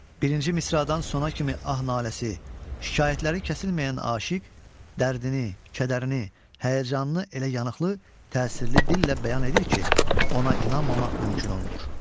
Birinci misradan sona kimi ah-naləsi, şikayətləri kəsilməyən aşiq dərdini, kədərini, həyəcanını elə yanıqlı, təsirli dillə bəyan edir ki, ona inanmamaq mümkün olmur.